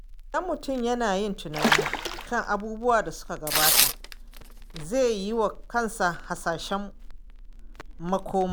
Idan mutum yana yin tunani kan abubuwan da suka gabata, zai yiwa kansa hasashen makoma.